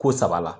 Ko saba la